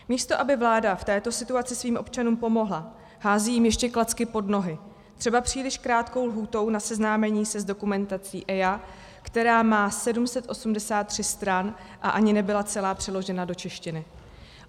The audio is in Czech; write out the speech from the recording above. Místo aby vláda v této situaci svým občanům pomohla, hází jim ještě klacky pod nohy, třeba příliš krátkou lhůtou na seznámení se s dokumentací EIA, která má 783 stran a ani nebyla celá přeložena do češtiny.